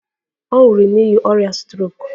Ọ nwụrụ n'ihi ọrịa strok.